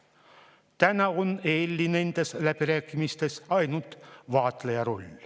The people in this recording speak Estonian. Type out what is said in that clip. Täna on EL‑il nendes läbirääkimistes ainult vaatleja roll.